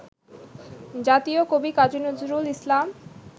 জাতীয় কবি কাজী নজরুল ইসলাম